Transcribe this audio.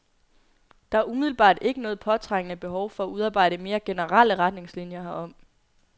Der er umiddelbart ikke noget påtrængende behov for at udarbejde mere generelle retningslinier herom.